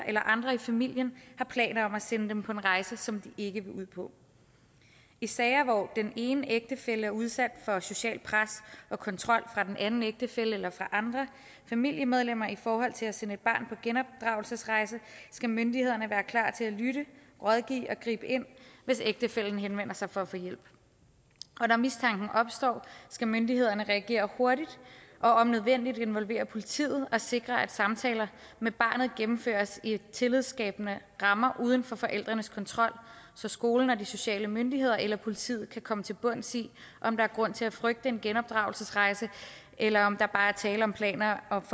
eller andre i familien har planer om at sende dem på en rejse som de ikke vil ud på i sager hvor den ene ægtefælle er udsat for socialt pres og kontrol fra den anden ægtefælle eller fra andre familiemedlemmer i forhold til at sende et barn på genopdragelsesrejse skal myndighederne være klar til at lytte rådgive og gribe ind hvis ægtefællen henvender sig for at få hjælp og når mistanken opstår skal myndighederne reagere hurtigt og om nødvendigt involvere politiet og sikre at samtaler med barnet gennemføres i tillidsskabende rammer uden for forældrenes kontrol så skolen og de sociale myndigheder eller politiet kan komme til bunds i om der er grund til at frygte en genopdragelsesrejse eller om der bare er tale om planer om